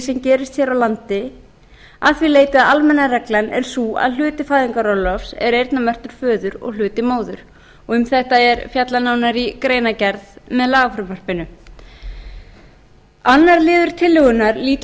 sem gerist hér á landi að því leyti að almenna reglan er sú að hluti fæðingarorlofs er eyrnamerktur föður og hluti móður um þetta er fjallað nánar í greinargerð með lagafrumvarpinu annar liður tillögunnar lýtur